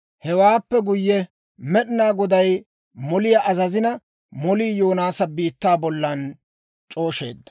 Hewaappe guyye, Med'inaa Goday moliyaa azazina, molii Yoonaasa biittaa bollan c'oosheedda.